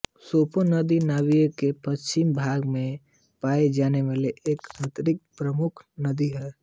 Swakop नदी Namibia के पश्चिमी भाग में पायी जाने वाली एक आतंरिक प्रमुख नदी है